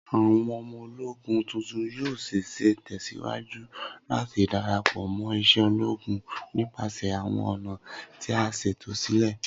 Awọn ọmọ-ologún tuntun yoo ṣee ṣe tẹsiwaju lati darapọ mo ise ologun nipasẹ awọn ọna ti a ṣeto silẹ